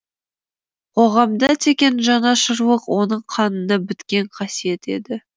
қоғамға деген жанашырлық оның қанына біткен қасиет еді